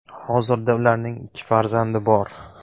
Hozirda ularning ikki farzandi bor.